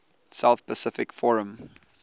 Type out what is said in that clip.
south pacific forum